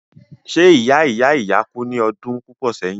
ṣé ìya ìya ìya kú ní ọdún púpọ̀ sẹ́yìn?